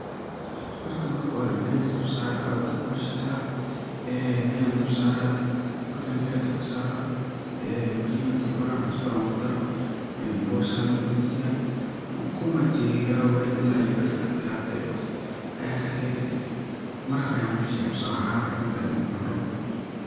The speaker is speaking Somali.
Horta marka hore biyaan dabka saraa , biyaha markey buran maraq ayan u bixiyaa oo ku majiraa ila ay kaadkadan aya kadiga kadib. Maraq iyo cano wixi kucuni rabo kadib ayan kucuna.